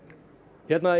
hérna í